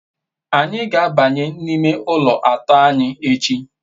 anyi ga-abanye n'ime ulo ato anyi echi